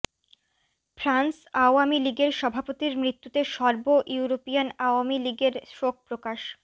France Awami লীগের সভাপতির মৃত্যুতে সর্ব ইউরোপিয়ান আওয়ামী লীগের শোক প্রকাশ